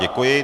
Děkuji.